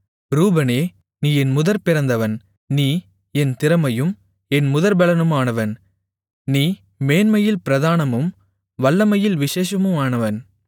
ரூபனே நீ என் முதற்பிறந்தவன் நீ என் திறமையும் என் முதற்பெலனுமானவன் நீ மேன்மையில் பிரதானமும் வல்லமையில் விசேஷமுமானவன்